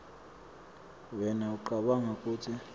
wena ucabanga kutsi